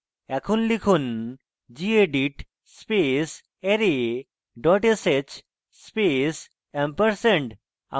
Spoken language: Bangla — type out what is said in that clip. এখন লিখুন: gedit space array dot sh space &